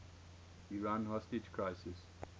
iran hostage crisis